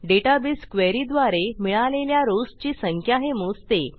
database query द्वारे मिळालेल्या rows ची संख्या हे मोजते